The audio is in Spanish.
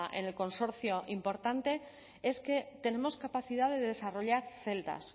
en el consorcio importante es que tenemos capacidad de desarrollar celdas